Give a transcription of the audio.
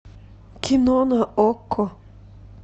кино на окко